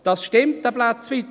» Das stimmt teilweise.